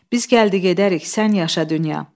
Biz gəldi gedərik, sən yaşa dünya.